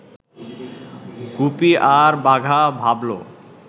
গুপি আর বাঘা ভাবল